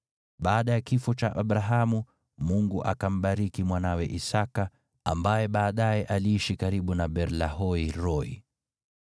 Baada ya kifo cha Abrahamu, Mungu akambariki mwanawe Isaki, ambaye baadaye aliishi karibu na Beer-Lahai-Roi.